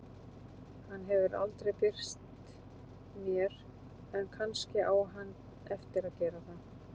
Hann hefur aldrei birst mér en kannski á hann eftir að gera það.